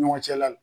Ɲɔgɔn cɛla la